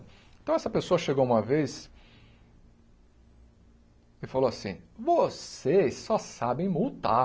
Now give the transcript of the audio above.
Então, essa pessoa chegou uma vez e falou assim, vocês só sabem multar.